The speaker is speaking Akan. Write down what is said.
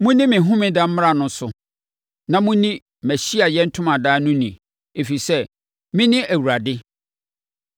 “ ‘Monni me homeda mmara no so na monni mʼAhyiaeɛ Ntomadan no ni, ɛfiri sɛ, mene Awurade.